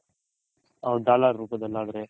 ಹೌದ್ dollars ರೂಪದಲ್ ಆದ್ರೆ.